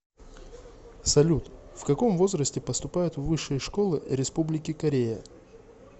салют в каком возрасте поступают в высшие школы республики корея